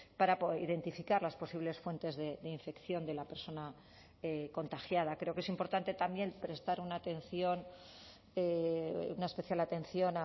para identificar las posibles fuentes de infección de la persona contagiada creo que es importante también prestar una atención una especial atención